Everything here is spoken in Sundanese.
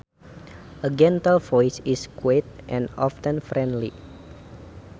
A gentle voice is quiet and often friendly